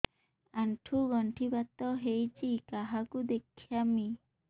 ଆଣ୍ଠୁ ଗଣ୍ଠି ବାତ ହେଇଚି କାହାକୁ ଦେଖାମି